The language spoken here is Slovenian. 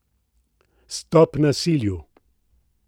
Stop nasilju!